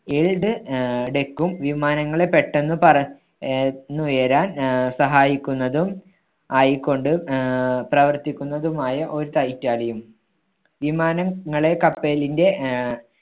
ആഹ് deck ഉം വിമാനങ്ങളെ പെട്ടെന്ന് പറ ആഹ് ന്നുയരാൻ ആഹ് സഹായിക്കുന്നതും ആയിക്കൊണ്ട് ആഹ് പ്രവർത്തിക്കുന്നതുമായ ഒരു വിമാന~ങ്ങളെ കപ്പലിന്റെ ആഹ്